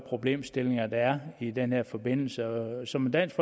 problemstillinger der er i denne forbindelse som dansk